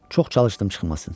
Çox çalışdım çıxmasın.